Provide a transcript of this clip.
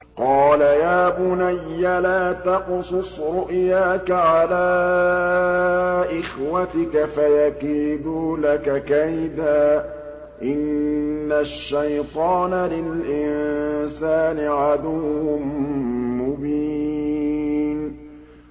قَالَ يَا بُنَيَّ لَا تَقْصُصْ رُؤْيَاكَ عَلَىٰ إِخْوَتِكَ فَيَكِيدُوا لَكَ كَيْدًا ۖ إِنَّ الشَّيْطَانَ لِلْإِنسَانِ عَدُوٌّ مُّبِينٌ